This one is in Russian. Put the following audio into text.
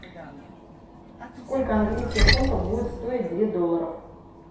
сколько английских фунтов будет стоить две долларов